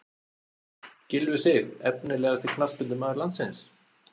Gylfi Sig Efnilegasti knattspyrnumaður landsins?